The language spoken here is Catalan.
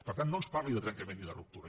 per tant no ens parli de trencament i de ruptura